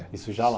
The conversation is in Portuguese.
Isso já lá.